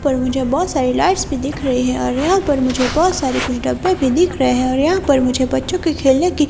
पर मुझे बहुत सारे लाइट्स भी दिख रही है और यहाँ पर मुझे बहुत सारे कुछ डब्बे भी दिख रहे हैं और यहाँ पर मुझे बच्चों के खेलने की--